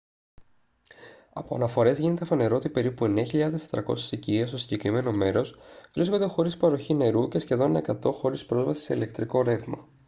από αναφορές γίνεται φανερό ότι περίπου 9400 οικίες στο συγκεκριμένο μέρος βρίσκονται χωρίς παροχή νερού και σχεδόν 100 χωρίς πρόσβαση σε ηλεκτρικό ρεύμα